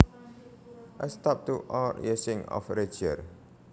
A stop to or easing of rigour